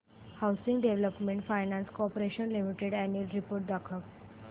housing development finance corporation limited annual report दाखव